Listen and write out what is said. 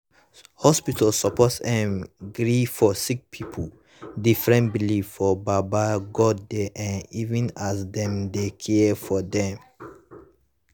hospitas suppos erm gree for sicki pipu different beliefs for baba godey[um]even as dem dey care for dem